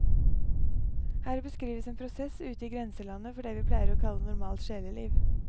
Her beskrives en prosess ute i grenselandet for det vi pleier å kalle normalt sjeleliv.